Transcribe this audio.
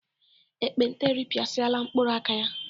Ekpenta eripịasịala mkpụrụ aka ya.